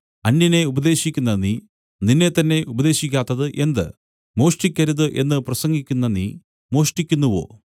അന്യനെ ഉപദേശിക്കുന്ന നീ നിന്നെത്തന്നെ ഉപദേശിക്കാത്തത് എന്ത് മോഷ്ടിക്കരുത് എന്നു പ്രസംഗിക്കുന്ന നീ മോഷ്ടിക്കുന്നുവോ